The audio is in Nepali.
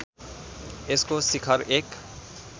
यसको शिखर एक